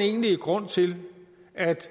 egentlige grund til at